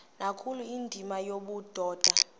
nkulu indima yobudoda